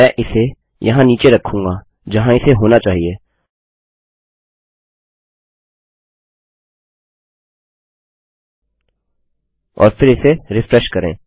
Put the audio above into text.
मैं इसे यहाँ नीचे रखूँगा जहाँ इसे होना चाहिए और फिर इसे रिफ्रेश करें